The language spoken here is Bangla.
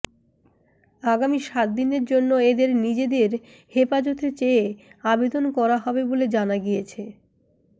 আগামী সাতদিনের জন্য এদের নিজেদের হেফাজতে চেয়ে আবেদন করা হবে বলে জানা গিয়েছে